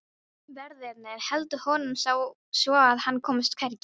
Verðirnir héldu honum svo að hann komst hvergi.